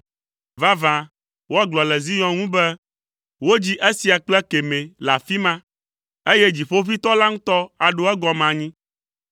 Vavã, woagblɔ le Zion ŋu be, “Wodzi esia kple ekemɛ le afi ma, eye Dziƒoʋĩtɔ la ŋutɔ aɖo egɔme anyi.”